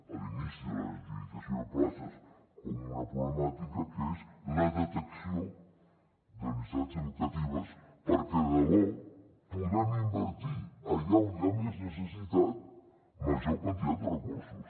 a l’inici de l’adjudicació de places com una problemàtica que és la detecció de necessitats educatives perquè de debò puguem invertir allà on hi ha més necessitat major quantitat de recursos